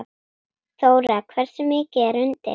Þóra: Hversu mikið er undir?